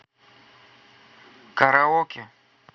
караоке